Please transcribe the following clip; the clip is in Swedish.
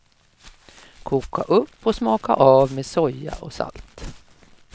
Koka upp och smaka av med soja och salt.